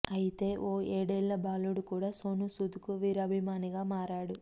ఐతే ఓ ఏడేళ్ల బాలుడు కూడా సోనూసూద్ కు వీరాభిమానిగా మారాడు